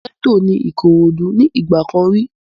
Gẹ́ẹ́tò ní Ìkòròdú ní ìgbà kan rí